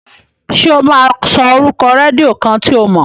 Ṣé ó máa sọ orúkọ rédíó kan tí o mọ̀?